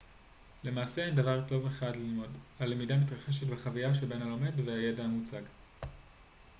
למעשה אין דבר טוב אחד ללמוד הלמידה מתרחשת בחוויה שבין הלומד והידע המוצג